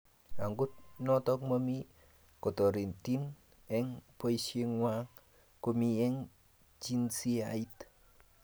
Okot nto mamii kotorinte eng boisiengwang komii eng jinsiait.